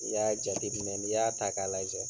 N'i y'a jate minɛ, n i y'a ta k'a lajɛ